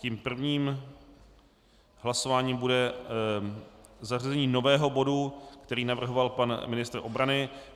Tím prvním hlasováním bude zařazení nového bodu, který navrhoval pan ministr obrany.